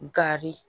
Gari